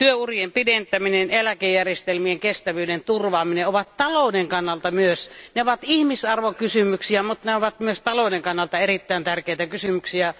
Työurien pidentäminen ja eläkejärjestelmien kestävyyden turvaaminen ovat talouden kannalta myös ne ovat ihmisarvokysymyksiä, mutta ne ovat myös talouden kannalta erittäin tärkeitä kysymyksiä.